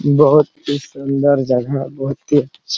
बहुत ही सुंदर जगह बहुत ही अच्छा--